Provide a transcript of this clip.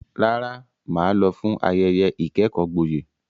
Rárá, mà á lọ fún ayẹyẹ ìkẹ́kọ̀ọ́ gboyè.